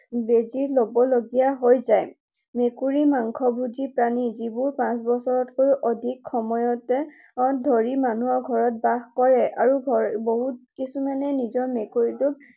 বেজী লব লগীয়া হৈ যায়। মেকুৰী মাংসভোজী প্ৰাণী। যিবোৰ পাঁচ বছৰতকৈও অধিক সময় ধৰি মানুহৰ ঘৰত বাস কৰে আৰু বহুত কিছুমানে নিজৰ মেকুৰীটোক